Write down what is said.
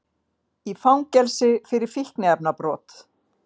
Í fangelsi fyrir fíkniefnabrot